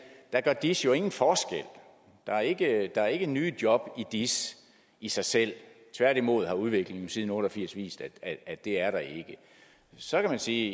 at der gør dis jo ingen forskel der er ikke er ikke nye job i dis i sig selv tværtimod har udviklingen siden nitten otte og firs vist at det er der ikke så kan man sige